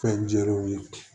Fɛn jɛlenw ye